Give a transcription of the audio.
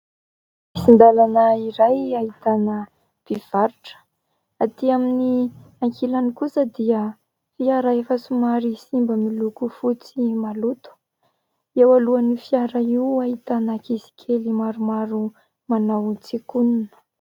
Lalana iray ahitana mpivarotra. Aty amin'ny ankilany kosa dia fiara efa somary simba miloko fotsy maloto ; eo alohan'io fiara io ahitana ankizy kely maromaro manao tsikonina.